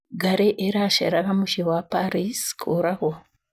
Ngarĩ ĩraceraga mũciĩ wa Paris kũragwo.